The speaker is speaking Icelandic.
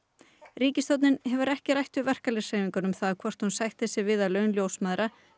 ríkisstjórnin hefur ekki rætt við verkalýðshreyfinguna um það hvort hún sætti sig við að laun ljósmæðra